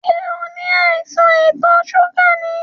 Ṣẹ́ o ní àìsàn ìtò ṣúgà ni?